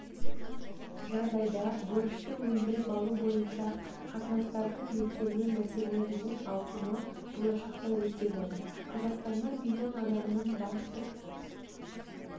жағдайда борышты өндіріп алу бойынша қатынастардың реттелмеу мәселелерінің ауқымы болашақта өседі қазақстанда млн адамның банктік